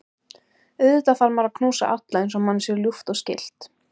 Auðvitað þarf maður að knúsa alla eins og manni er ljúft og skylt.